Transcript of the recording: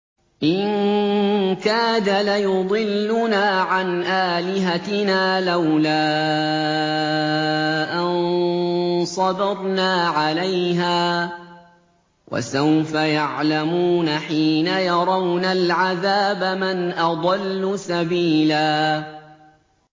إِن كَادَ لَيُضِلُّنَا عَنْ آلِهَتِنَا لَوْلَا أَن صَبَرْنَا عَلَيْهَا ۚ وَسَوْفَ يَعْلَمُونَ حِينَ يَرَوْنَ الْعَذَابَ مَنْ أَضَلُّ سَبِيلًا